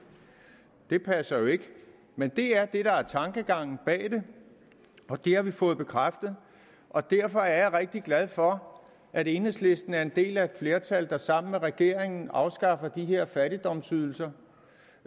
det passer jo ikke men det er det der er tankegangen bag det og det har vi fået bekræftet derfor er jeg rigtig glad for at enhedslisten er en del af et flertal der sammen med regeringen afskaffer de her fattigdomsydelser